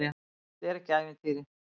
Þetta er ekki ævintýri.